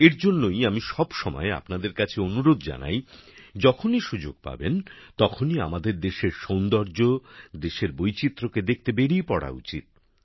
এর জন্যই আমি সব সময় আপনাদের কাছে অনুরোধ জানাই যখনই সুযোগ পাবেন তখনই আমাদের দেশের সৌন্দর্য দেশের বৈচিত্রকে দেখতে বেরিয়ে পড়া উচিত